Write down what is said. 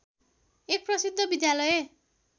एक प्रसिद्ध विद्यालय